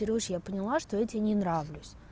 кирюш я поняла что я тебе не нравлюсь